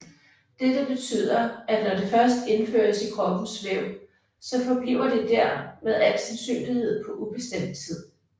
Dette betyder at når det først indføres i kroppens væv så forbliver det der med al sandsynlighed på ubestemt tid